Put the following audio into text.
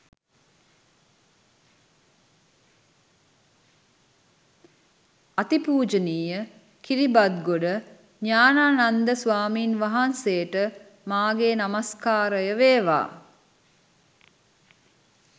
අතිපුජනීය කිරිබත්ගොඩ ඤානානන්ද ස්වාමින් වහන්සේට මාගේ නමස්කාරය වේවා